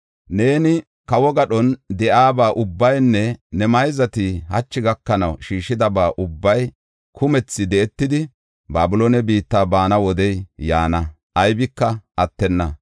‘Neeni, kawo gadhon de7iyaba ubbaynne ne mayzati hachi gakanaw shiishidaba ubbay kumthi di7etidi, Babiloone biitta baana wodey yaana; aybika attenna.